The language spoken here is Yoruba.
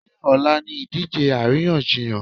Ṣé ọ̀la ni ìdíje àríyànjiyàn?